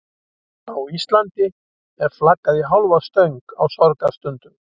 Á Íslandi er flaggað í hálfa stöng á sorgarstundum.